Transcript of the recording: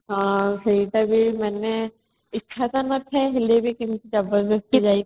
ହଁ ସେଇଟା ବି ମାନେ ଇଚ୍ଛା ତ ନଥାଏ ହେଲେ ବି କିନ୍ତୁ ଜବରଦସ୍ତି ଯାଇକି |